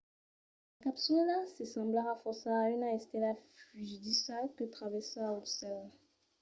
la capsula se semblarà fòrça a una estela fugidissa que travèrsa lo cèl